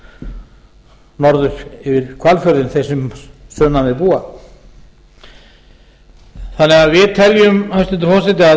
hér norður yfir hvalfjörðinn þeir sem sunnan við búa við teljum því hæstvirtur forseti að